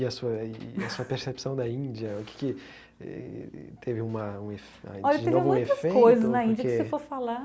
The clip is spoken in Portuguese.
E a sua e a sua percepção da Índia, o que teve uma um efeito... A Índia teve muitas coisas na Índia que se for falar.